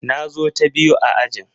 Na zo ta biyu a ajin.